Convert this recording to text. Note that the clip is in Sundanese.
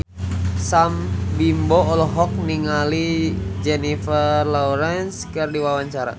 Sam Bimbo olohok ningali Jennifer Lawrence keur diwawancara